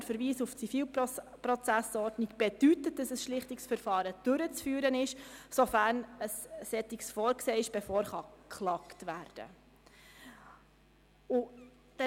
Der Verweis auf die ZPO bedeutet, dass ein Schlichtungsverfahren durchzuführen ist, sofern ein solches vorgesehen ist, bevor geklagt werden kann.